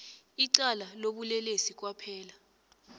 icala lobulelesi kwaphela